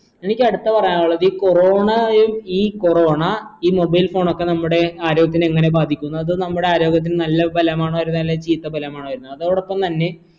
എനിക്കടുത്ത പറയാനുള്ളത് ഈ corona എ ഈ corona ഈ mobile phone ഒക്കെ നമ്മുടെ ആരോഗ്യത്തിന് എങ്ങനെ ബാധിക്കും അത് നമ്മുടെ ആരോഗ്യത്തിന് നല്ല ബലമാണോ തരുന്നേ അല്ല നല്ല ചീത്ത ബലമാണോ വരുന്നേ അതോടൊപ്പം തന്നെ